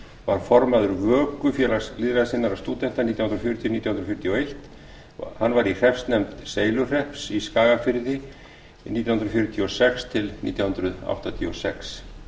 var formaður vöku félags lýðræðissinnaðra stúdenta nítján hundruð fjörutíu til nítján hundruð fjörutíu og eitt hann var í hreppsnefnd seyluhrepps í skagafjarðarsýslu nítján hundruð fjörutíu og sex til nítján hundruð áttatíu og sex